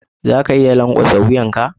Za ka iya lankwasa wuyan ka?